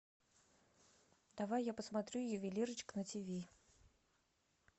давай я посмотрю ювелирочка на тв